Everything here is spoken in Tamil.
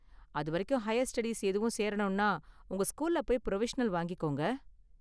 அதுவரைக்கு ஹையர் ஸ்டடீஸ் எதுவும் சேரணும்னா உங்க ஸ்கூல்ல போய் புரோவிஷனல் வாங்கிகோங்க